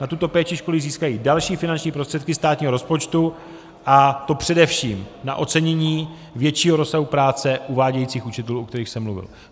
Na tuto péči školy získají další finanční prostředky státního rozpočtu, a to především na ocenění většího rozsahu práce uvádějících učitelů, o kterých jsem mluvil.